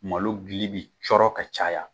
Malo dili bɛ cɔrɔ ka caya